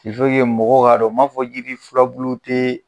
mɔgɔw k'a dɔn ma fɔ yidi fulabulu tee